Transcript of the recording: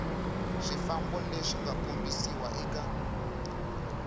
swifambo leswi nga kombisiwa eka